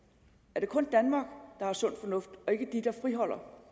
er det kun danmark der har sund fornuft og ikke de der friholder